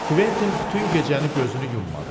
Kventin bütün gecəni gözünü yummadı.